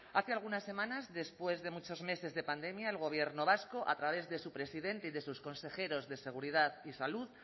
hace algunas semanas después de muchos meses de pandemia el gobierno vasco a través de su presidente y de sus consejeros de seguridad y salud